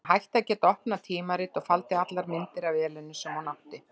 Hún hætti að geta opnað tímarit, og faldi allar myndir af Elenu sem hún átti.